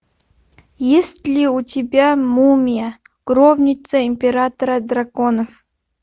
есть ли у тебя мумия гробница императора драконов